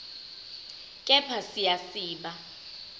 kepha siya siba